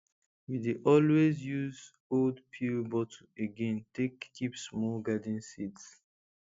we dey always use old pill bottle again take keep small garden seeds